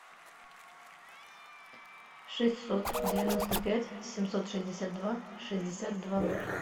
шестьсот девяносто пять семьсот шестьдесят два шестьдесят два ноль